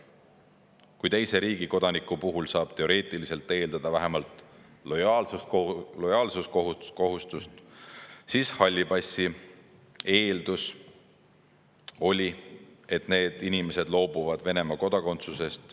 Kui teise riigi kodaniku puhul saab teoreetiliselt eeldada vähemalt lojaalsuskohustust, siis halli passi oli eeldus, et need inimesed loobuvad Venemaa kodakondsusest.